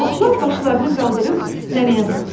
Otlar başlarını qaldırıb nənəyə baxdı.